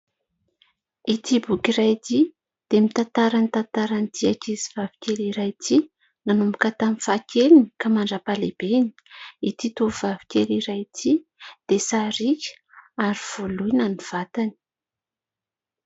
Ity boky iray ity, dia mitantara ny tantaran'ity ankizivavy kely iray ity nanomboka tamin'ny fahakeliny ka mandra-pahalehibeny. Ity tovovavikely iray ity dia sariaka, ary voloina ny vatany.